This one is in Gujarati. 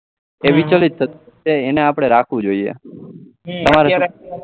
એ વિચલિત છે એને આપડે રાખવું જોઈએ તમારે શું